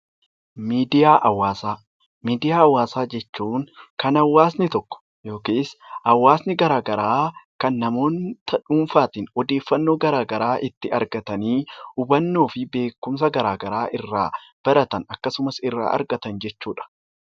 Miidiyaa Hawaasaa Miidiyaa Hawaasaa jechuun kan hawaasni tokko yookiis hawaasni gara garaa, kan namoonni dhuunfaa tiin odeeffannoo gara garaa itti argatanii, hubannoo fi beekumsa gara garaa irraa baratan akkasumas irraa argatan jechuu dha.